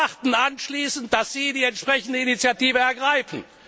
Und wir erwarten anschließend, dass Sie die entsprechende Initiative ergreifen.